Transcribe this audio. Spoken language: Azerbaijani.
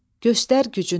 Göstər gücünü.